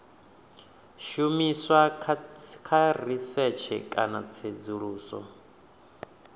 shumiswa kha risetshe kana tsedzuluso